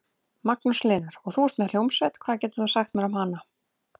Magnús Hlynur: Og þú ert með hljómsveit, hvað getur þú sagt mér um hana?